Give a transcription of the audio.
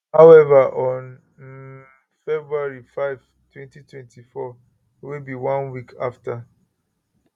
however on um february 5 2024 wey be one week afta